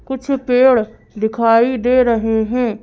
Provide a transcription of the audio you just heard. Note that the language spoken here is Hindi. कुछ पेड़ दिखाई दे रहे हैं।